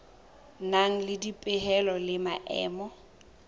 nang le dipehelo le maemo